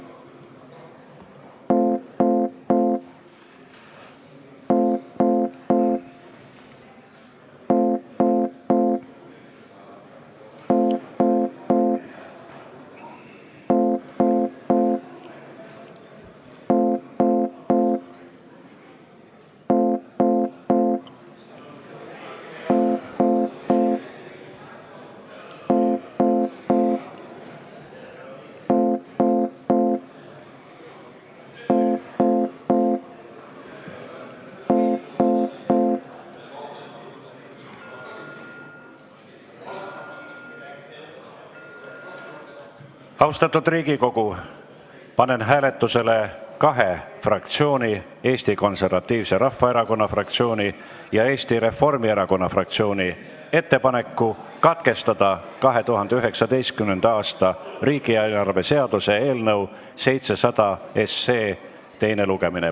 Austatud Riigikogu, panen hääletusele kahe fraktsiooni, Eesti Konservatiivse Rahvaerakonna fraktsiooni ja Eesti Reformierakonna fraktsiooni ettepaneku katkestada 2019. aasta riigieelarve seaduse eelnõu 700 teine lugemine.